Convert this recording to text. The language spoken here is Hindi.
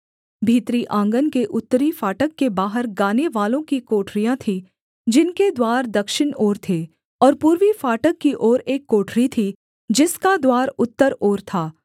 भीतरी आँगन के उत्तरी फाटक के बाहर गानेवालों की कोठरियाँ थीं जिनके द्वार दक्षिण ओर थे और पूर्वी फाटक की ओर एक कोठरी थी जिसका द्वार उत्तर ओर था